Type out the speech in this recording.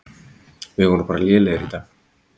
Við vorum bara lélegir í dag.